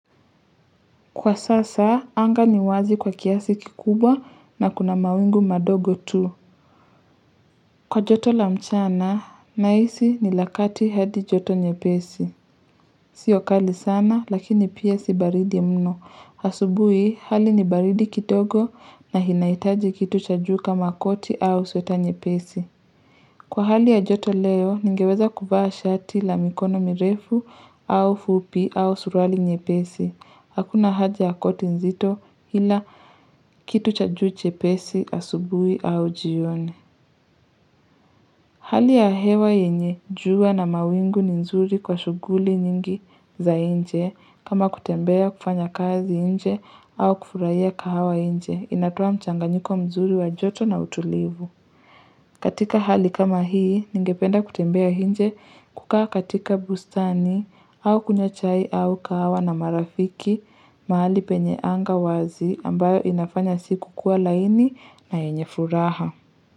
Kwa sasa, anga ni wazi kwa kiasi kikubwa na kuna mawingu madogo tu. Kwa joto la mchana, nahisi ni la kati hadi joto nyepesi. Sio kali sana, lakini pia si baridi mno. Asubuhi, hali ni baridi kidogo na inahitaji kitu cha juu kama koti au sweta nyepesi. Kwa hali ya joto leo, ningeweza kuvaa shati la mikono mirefu au fupi au surali nyepesi. Hakuna haja ya koti nzito ila kitu cha juu chepesi asubuhi au jioni. Hali ya hewa yenye jua na mawingu ni nzuri kwa shughuli nyingi za nje kama kutembea kufanya kazi nje au kufurahia kahawa nje inatoa mchanganyiko mzuri wa joto na utulivu. Katika hali kama hii, ningependa kutembea nje kukaa katika bustani au kunywa chai au kahawa na marafiki mahali penye anga wazi ambayo inafanya siku kua laini na yenye furaha.